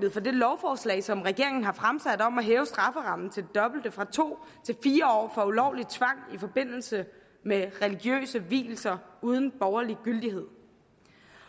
det det lovforslag som regeringen har fremsat om at hæve strafferammen til det dobbelte nemlig fra to til fire år for ulovlig tvang i forbindelse med religiøse vielser uden borgerlig gyldighed